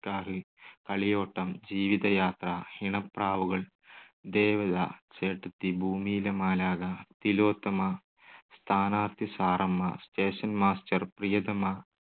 ക്കാഹ്, Kaliyottam, Jeevithayathra, Inapravukal, Devatha, Chettathi, Bhoomiyile Malakha, Thilothama, Sthanarthi Saramma, station master, Priyathama